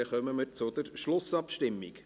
Dann kommen wir zu der Schlussabstimmung.